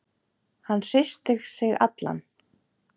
Hann hristir sig allan.